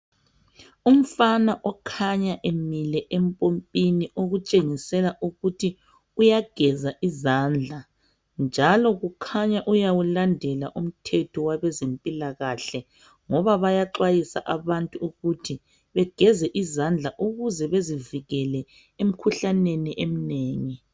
Umfana okhanya emile empompini okutshengisela ukuthi uyageza izandla. Njalo kukhanya uyawulandela umthetho wabezempilakahle ngoba bayaxwayisa abantu ukuthi begeze izandla ukuze bezivikele emikhuhlaneni eminengi.